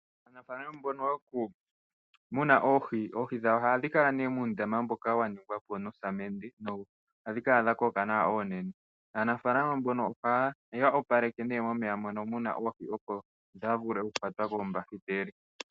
Aanafalama mbono yokumuna oohi, oohi dhawo ohadhi kala nee muundama mboka wa ningwa po nosamende nohadhi kala dha koka nawa oonene. Aanafalama mbono ohaya opaleke nee momeya mono mu na oohi, opo dhaa vule okukwatwa koombakiteli.